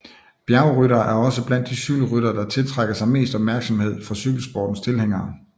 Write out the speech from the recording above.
Bjergryttere er også blandt de cykelryttere der tiltrækker sig mest opmærksomhed fra cykelsportens tilhængere